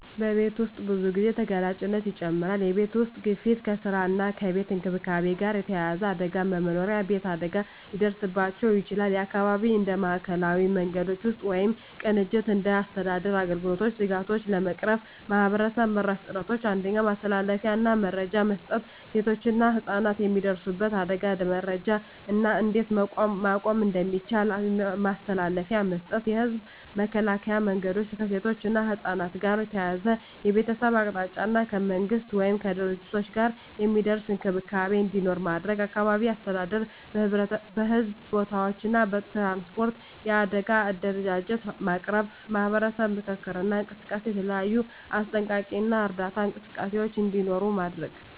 በቤት ውስጥ ብዙ ጊዜ ተጋላጭነት ይጨምራል የቤተሰብ ውስጥ ግፊት ከስራ እና ከቤት እንክብካቤ ጋር የተያያዘ አደጋ በመኖሪያ አካባቢ አደጋ ሊደርስባቸው ይችላል (የአካባቢ እንደ ማዕከላዊ መንገዶች ውስጥ ወይም ቅንጅት እንደ አስተዳደር አገልግሎቶች ስጋቶቹን ለመቅረፍ ማህበረሰብ-መራሽ ጥረቶች 1. ማስተላለፊያ እና መረጃ መስጠት ሴቶችና ህፃናት የሚደርሱበት አደጋን መረጃ እና እንዴት መቆም እንደሚቻል ማስተላለፊያ መስጠት። የህዝብ መከላከያ መንገዶች ከሴቶች እና ከህፃናት ጋር ተያያዘ የቤተሰብ አቅጣጫ እና ከመንግሥት ወይም ከድርጅቶች ጋር የሚደርስ እንክብካቤ እንዲኖር ማድረግ። አካባቢ አስተዳደር በሕዝብ ቦታዎች እና ትራንስፖርት የአደጋ አደረጃጀት ማቅረብ። ማህበረሰብ ምክክር እና እንቅስቃሴ የተለያዩ አስጠንቀቂ እና እርዳታ እንቅስቃሴዎች እንዲኖሩ ማድረግ።